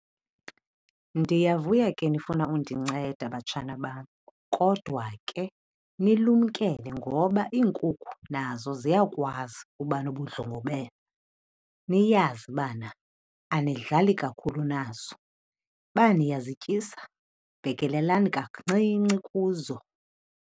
Ndiyavuya ke nifuna undinceda, batshana bam. Kodwa ke nilumkele ngoba iinkukhu nazo ziyakwazi uba nobundlobongela. Niyazi bana anidlali kakhulu nazo. Uba niyazityisa bhekelelani kancinci kuzo.